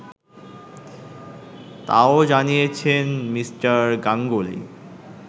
তাও জানিয়েছেন মি. গাঙ্গুলি